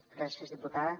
gràcies diputada